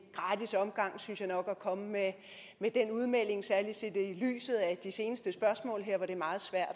gratis omgang synes jeg nok at komme med den udmelding særlig set i lyset af de seneste spørgsmål her hvor det er meget svært